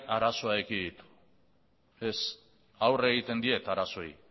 arazoa ekiditu ez aurre egiten diet arazoei